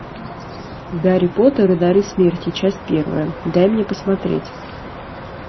гарри поттер и дары смерти часть первая дай мне посмотреть